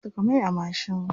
Ya saka mai a mashin.